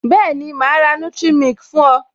Bẹẹni, ma ra nutric milk fún o